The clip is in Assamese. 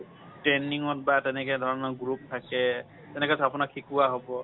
training ত বা তেনেকে ধৰনৰ group থাকে তেনেকে আপোনাক শিকোৱা হব।